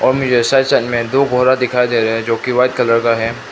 दो दिखाई दे रहा है जो की वाइट कलर का है।